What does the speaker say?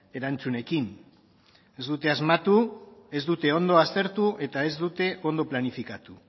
erantzunekin ez dute asmatu ez dute ondo aztertu eta ez dute ondo planifikatu